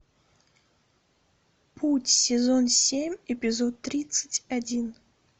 путь сезон семь эпизод тридцать один